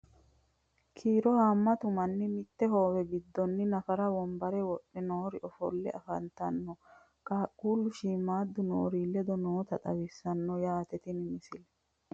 Kiiro haammattu manni mitte hoowe gidoonni naffara wonbbare wodhe noori offolle affanttanno. Qaaqullu shiimmadu noori leddo nootta xawissanno yaatte tini misile